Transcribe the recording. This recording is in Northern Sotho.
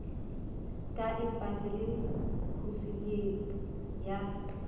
ka empasi le khosuleiti ya